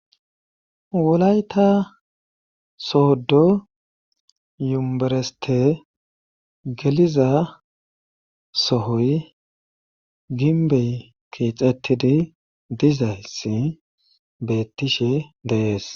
Wolayta soodo yumbereste geliza sohoy ginbey keexettidi dizayssi beettishe deees.